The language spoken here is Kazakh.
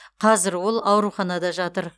қазір ол ауруханада жатыр